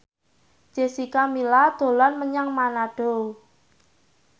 Jessica Milla dolan menyang Manado